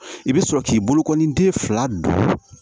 I bɛ sɔrɔ k'i bolokɔni den fila don